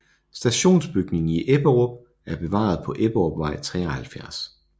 Stationsbygningen i Ebberup er bevaret på Ebberupvej 73